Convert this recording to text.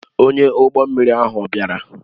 Onye ụgbọ mmiri ahụ ọ̀ bịara?